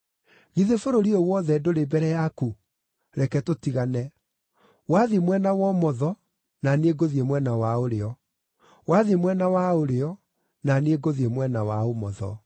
Githĩ bũrũri ũyũ wothe ndũrĩ mbere yaku? Reke tũtigane. Wathiĩ mwena wa ũmotho, na niĩ ngũthiĩ mwena wa ũrĩo; wathiĩ mwena wa ũrĩo, na niĩ ngũthiĩ mwena wa ũmotho.”